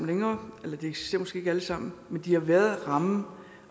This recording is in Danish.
længere eller de eksisterer måske ikke alle sammen men de har været rammen